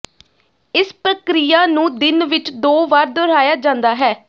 ਇਸ ਪ੍ਰਕਿਰਿਆ ਨੂੰ ਦਿਨ ਵਿੱਚ ਦੋ ਵਾਰ ਦੁਹਰਾਇਆ ਜਾਂਦਾ ਹੈ